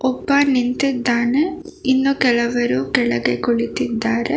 ಒಬ್ಬ ನಿಂತಿದ್ದಾನೆ ಇನ್ನು ಕೆಲವರು ಕೆಳಗೆ ಕುಳಿತಿದ್ದಾರೆ.